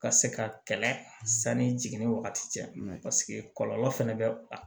Ka se ka kɛlɛ sanni jigini wagati cɛ paseke kɔlɔlɔ fɛnɛ bɛ a